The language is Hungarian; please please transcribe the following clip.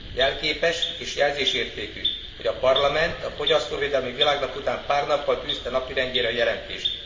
Jelképes és jelzésértékű, hogy a Parlament a fogyasztóvédelmi világnap után pár nappal tűzte napirendjére a jelentést.